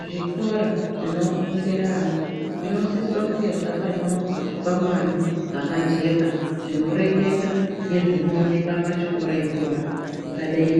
Zvikora zvinofundira ana zvinosisira kunge zvakanyorwa zvikwangwari zvakajeka zvinoreketa ngezvinooneka pachikora ipona zvingadei